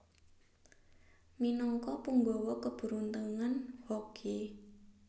Minagka panggawa keberuntungan Hoki